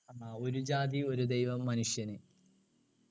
ഒരു ജാതി ഒരു ദൈവം മനുഷ്യന്